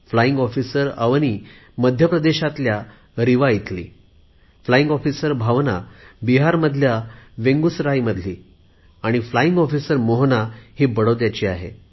flying officer Avani मध्य प्रदेशातील रीवा इथली आहे फ्लाईंग ऑफिसर भावना बिहारमधील बेगुसराईमधली आहे आणि फ्लाईंग ऑफिसर मोहना गुजरातमधील बडोद्याची आहे